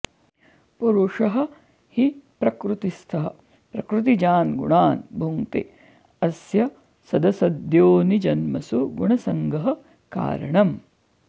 पुरुषः हि प्रकृतिस्थः प्रकृतिजान्गुणान् भुङ्क्ते अस्य सदसद्योनिजन्मसु गुणसङ्गः कारणम्